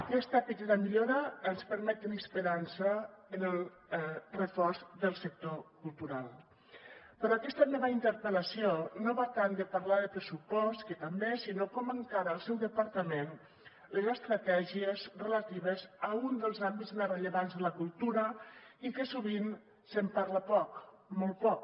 aquesta petita millora ens permet tenir esperança en el reforç del sector cultural però aquesta meva interpel·lació no va tant de parlar de pressupost que també sinó com encara el seu departament les estratègies relatives a un dels àmbits més rellevants de la cultura i que sovint se’n parla poc molt poc